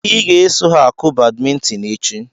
I ga-eso ha akụ badmintin echi!